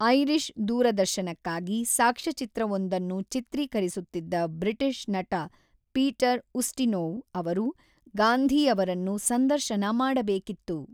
Irish ದೂರದರ್ಶನಕ್ಕಾಗಿ ಸಾಕ್ಷ್ಯಚಿತ್ರವೊಂದನ್ನು ಚಿತ್ರೀಕರಿಸುತ್ತಿದ್ದ ಬ್ರಿಟಿಷ್ ನಟ ಪೀಟರ್ ಉಸ್ಟಿನೋವ್ ಅವರು ಗಾಂಧಿ ಅವರನ್ನು ಸಂದರ್ಶನ ಮಾಡಬೇಕಿತ್ತು.